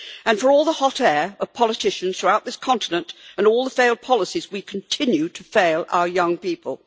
For all the hot air of politicians throughout this continent and all the failed policies, we continue to fail our young people.